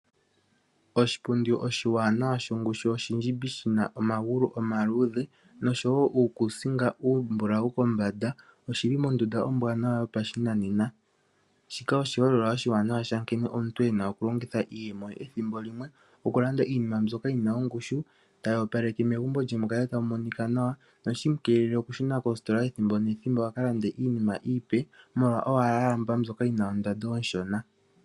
Oshipundi oshiwanawa shongushu oshindjimbi shi na omagulu omaluudhe nosho wo uukuusinga uumbulawu kombanda oshi li mondunda ombwaanawa yopashinanena. Shika oshiholelwa oshiwanawa sha nkene omuntu e na okulongitha iiyemo ye ethimbo limwe okulanda iinima yi na ongushu, tayi opaleke megumbo lye mu kale tamu monika nawa, ohashi mu keelele okushuna koositola ethimbo nethimbo oku ka landa iinima iipe molwa owala a lamba mbyoka yi na ondando onshona.